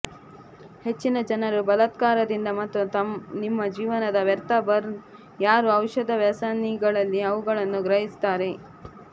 ಹೆಚ್ಚಿನ ಜನರು ಬಲಾತ್ಕಾರದಿಂದ ಮತ್ತು ನಿಮ್ಮ ಜೀವನದ ವ್ಯರ್ಥ ಬರ್ನ್ ಯಾರು ಔಷಧ ವ್ಯಸನಿಗಳಲ್ಲಿ ಅವುಗಳನ್ನು ಗ್ರಹಿಸುತ್ತಾರೆ